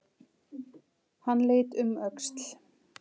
Hann leit um öxl.